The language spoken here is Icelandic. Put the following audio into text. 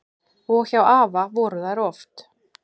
Og hjá afa voru þær oft.